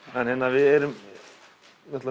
við erum